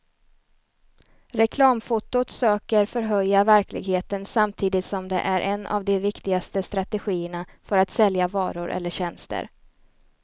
Reklamfotot söker förhöja verkligheten samtidigt som det är en av de viktigaste strategierna för att sälja varor eller tjänster.